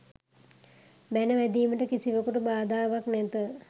බැන වැදීමට කිසිවෙකුට බාධාවක් නැත.